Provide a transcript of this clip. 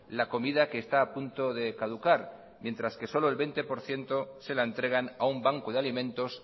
la comida que está a punto de caducar mientras que solo el veinte por ciento se la entregan a un banco de alimentos